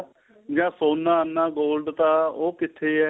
ਜਾਂ ਸੋਨਾ ਇੰਨਾ gold ਤਾ ਉਹ ਕਿੱਥੇ ਹੈ